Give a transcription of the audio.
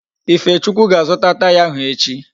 Ifechukwu ga-azuta Taya ahụ echi